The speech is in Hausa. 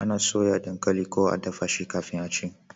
ana soya dankali ko a dafa shi kafin a ci